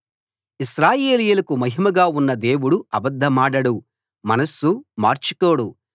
ఇశ్రాయేలీయులకు మహిమగా ఉన్న దేవుడు అబద్ధమాడడు మనస్సు మార్చుకోడు